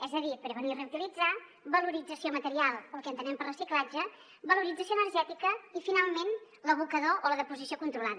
és a dir prevenir i reutilitzar valorització material el que entenem per reciclatge valorització energètica i finalment l’abocador o la deposició controlada